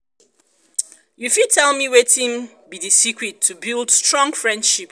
you fit tell me wetin be di secret to build strong friendship?